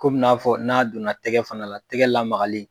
Komi n'a fɔ n'a donna tɛgɛ fana la, tɛgɛ lamagali